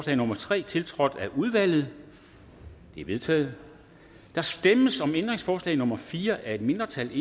nummer tre tiltrådt af udvalget det er vedtaget der stemmes om ændringsforslag nummer fire af et mindretal